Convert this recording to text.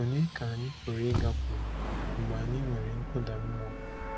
Ònye ka anyị pụrụ ịgakwuru mgbe anyị nwere nkụda mmụọ?